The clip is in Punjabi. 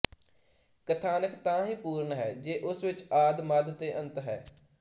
ਕਥਾਨਕ ਤਾਂ ਹੀ ਪੂਰਨ ਹੈ ਜੇ ਉਸ ਵਿੱਚ ਆਦਿ ਮੱਧ ਤੇ ਅੰਤ ਹੈ